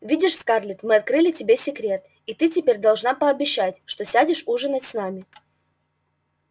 видишь скарлетт мы открыли тебе секрет и ты теперь должна пообещать что сядешь ужинать с нами